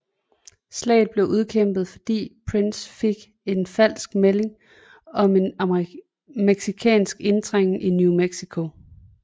Slaget blev udkæmpet fordi Price fik en falsk melding om en mexicansk indtrængning i New Mexico